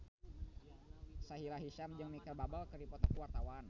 Sahila Hisyam jeung Micheal Bubble keur dipoto ku wartawan